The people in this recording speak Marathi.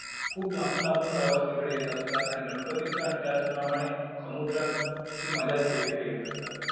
खूप लांबून लांबून प्रवासी इकडे येत असतात आणि गणपतीचा आणि त्याचप्रमाणे समुद्राची मज्जा देखील ते घेत असतात.